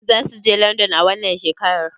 Zakuje london a wannan shekarar?